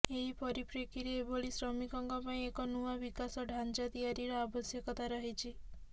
ଏହି ପରିପ୍ରେକ୍ଷୀରେ ଏଭଳି ଶ୍ରମିକଙ୍କ ପାଇଁ ଏକ ନୂଆ ବିକାଶ ଢ଼ାଞ୍ଚା ତିଆରିର ଆବଶ୍ୟକତା ରହିଛି